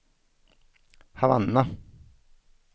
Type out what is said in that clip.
Havanna